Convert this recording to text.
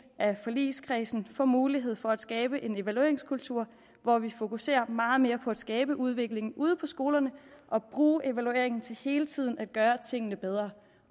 af forligskredsen får mulighed for at skabe en evalueringskultur hvor vi fokuserer meget mere på at skabe udvikling ude på skolerne og bruge evaluering til hele tiden at gøre tingene bedre